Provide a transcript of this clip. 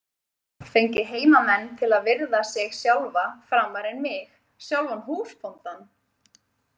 Fengið heimamenn til að virða sig sjálfa framar en mig, sjálfan húsbóndann?